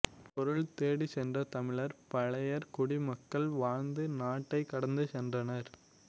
பொருள் தேடிச் சென்ற தமிழர் பழையர் குடிமக்கள் வாழ்ந்த நாட்டைக் கடந்து சென்றனர்